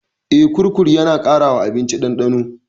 Eh, kurkur yana ƙara wa abinci ɗandano.